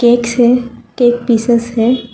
एक से cake pieces है।